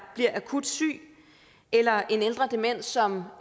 bliver akut syg eller en ældre dement som